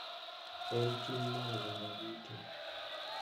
En ting’ mar oganda duto